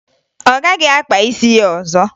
Ọ gaghị akpa isi ya ọzọ